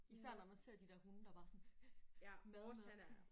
Især når man ser de der hunde der bare er sådan mad mad